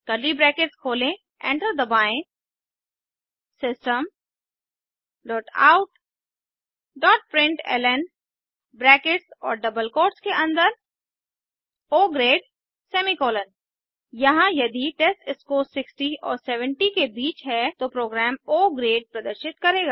curly brackets खोलें enter दबाएँ system dot out dot println brackets और डबल कोट्स के अन्दर ओ ग्रेड सेमीकोलन यहाँ यदि टेस्टस्कोर 60 और 70 के बीच है तो प्रोग्राम ओ ग्रेड प्रदर्शित करेगा